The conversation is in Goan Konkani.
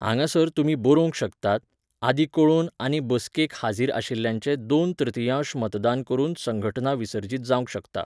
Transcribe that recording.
हांगासर तुमी बरोवंक शकतात, आदीं कळोवन आनी बसकेक हाजीर आशिल्ल्यांचें दोन तृतियांश मतदान करून संघटना विसर्जीत जावंक शकता.